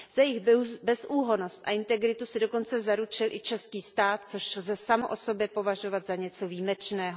Za jejich bezúhonnost a integritu se dokonce zaručil i český stát, což lze samo o sobě považovat za něco výjimečného.